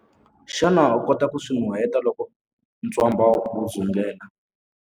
Xana u kota ku swi nuheta loko ntswamba wu dzungela?